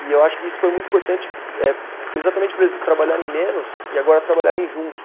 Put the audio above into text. E eu acho que isso foi muito importante eh, exatamente por eles trabalharem menos e agora trabalharem juntos.